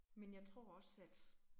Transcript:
Men jeg tror også, at